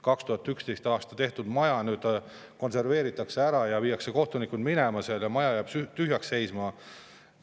2011. aastal maja konserveeritakse ja viiakse kohtunikud sealt minema, maja jääb tühjalt seisma.